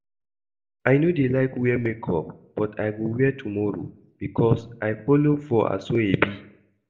I no dey like wear makeup but I go wear tomorrow because I follow for aso-ebi